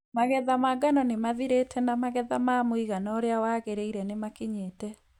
Magetha ma ngano nĩmathirĩte na magetha ma mũigana ũrĩa wagĩrĩire nĩ makinyĩte.